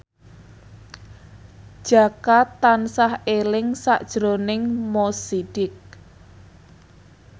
Jaka tansah eling sakjroning Mo Sidik